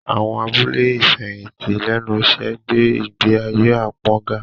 Àwọn abúlé ìfẹ̀yìntì lẹ́nu iṣẹ́ ń gbé ìgbé ayé apon ga